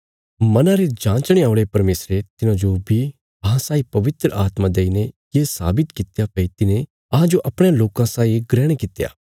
मना रे जाँचणे औल़े परमेशरे तिन्हांजो बी अहां साई पवित्र आत्मा देईने ये साबित कित्या भई तिने तिन्हांजो अपणयां लोकां साई ग्रहण कित्या